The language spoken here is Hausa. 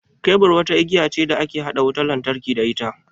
Kebur wata igiya ce da ake haɗa wutan lantarki da ita.